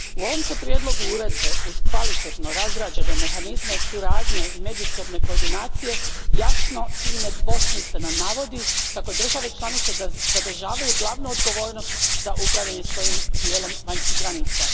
U ovom se prijedlogu Uredbe, uz kvalitetno razrađene mehanizme suradnje i međusobne koordinacije, jasno i nedvosmisleno navodi kako države članice zadržavaju glavnu odgovornost za upravljanje svojim dijelom vanjskih granica.